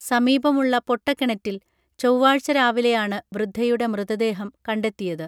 സമീപമുള്ള പൊട്ടകണറ്റിൽ ചൊവ്വാഴ്ച രാവിലെയാണ് വൃദ്ധയുടെ മൃതദേഹം കണ്ടെത്തിയത്